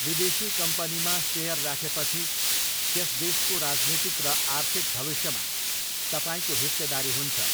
विदेशी कम्पनीमा सेयर राखेपछि त्यस देशको राजनीतिक र आर्थिक भविष्यमा तपाईँको हिस्सेदारी हुन्छ।